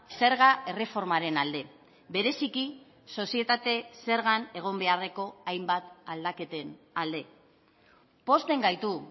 zerga erreformaren alde bereziki sozietate zergan egon beharreko hainbat aldaketen alde pozten gaitu